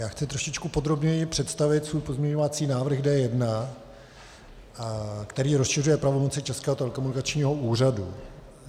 Já chci trošičku podrobněji představit svůj pozměňovací návrh D1, který rozšiřuje pravomoci Českého telekomunikačního úřadu.